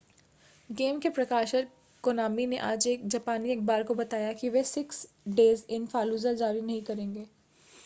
game के प्रकाशक Konami ने आज एक जापानी अख़बार को बताया कि वे सिक्स डेज़ इन फ़ालूजा जारी नहीं करेंगे